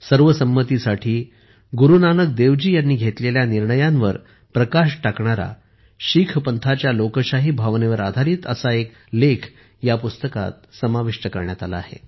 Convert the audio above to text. सर्व संमतीसाठी गुरू नानक देव जी यांनी घेतलेल्या निर्णयांवर प्रकाश टाकणारा शीख पंथाच्या लोकशाही भावनेवर आधारित एक लेखही पुस्तकात समाविष्ट करण्यात आला आहे